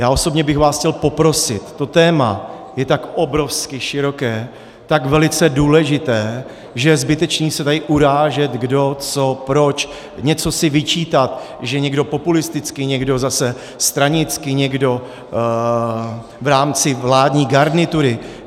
Já osobně bych vás chtěl poprosit, to téma je tak obrovsky široké, tak velice důležité, že je zbytečné se tady urážet, kdo co proč, něco si vyčítat, že někdo populisticky, někdo zase stranicky, někdo v rámci vládní garnitury.